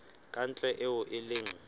ka ntle eo e leng